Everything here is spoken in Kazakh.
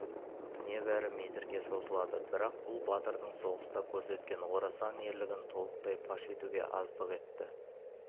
небәрі метрге созылады бірақ бұл батырдың соғыста көрсеткен орасан ерлігін толықтай паш етуге аздық етті